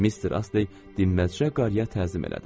Mister Astey dinməzşə qarıya təzim elədi.